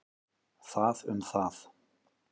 Það um það.